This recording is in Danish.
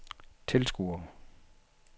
tilskuere